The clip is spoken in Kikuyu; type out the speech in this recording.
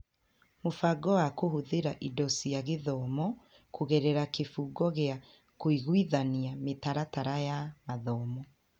Mũbango wa kũhũthĩra indo cia gĩthomo kũgerera kĩbungo gĩa kũiguithania mĩtaratara ya mathomo